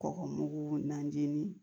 Kɔgɔmugu najini